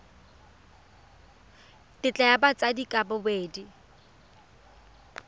tetla ya batsadi ka bobedi